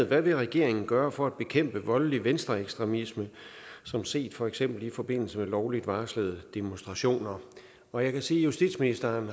hvad vil regeringen gøre for at bekæmpe voldelig venstreekstremisme som set for eksempel i forbindelse med lovligt varslede demonstrationer og jeg kan sige at justitsministeren